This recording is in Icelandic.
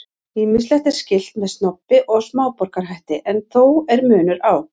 Ýmislegt er skylt með snobbi og smáborgarahætti en þó er munur á.